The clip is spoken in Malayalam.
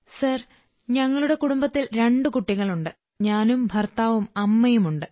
സർ ഞങ്ങളുടെ കുടുംബത്തിൽ രണ്ട് കുട്ടികളുണ്ട് ഞാനും ഭർത്താവും അമ്മയുമുണ്ട്